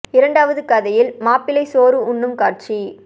இரண்டாவது கதையில் மாப்பிளை சோறு உண்ணும் காட்சி